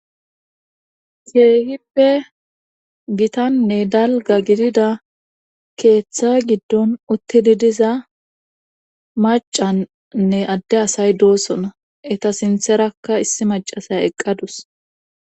Hippe gitanne dalga gidida keeththa giddon uttidi diza macannne adde asay doosona eta sintherakka issi macasay eqqadus